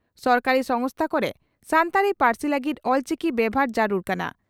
ᱥᱚᱨᱠᱟᱨᱤ ᱥᱚᱝᱜᱥᱛᱷᱟ ᱠᱚᱨᱮ ᱥᱟᱱᱛᱟᱲᱤ ᱯᱟᱹᱨᱥᱤ ᱞᱟᱹᱜᱤᱫ ᱚᱞᱪᱤᱠᱤ ᱵᱮᱵᱷᱟᱨ ᱡᱟᱹᱨᱩᱲ ᱠᱟᱱᱟ ᱾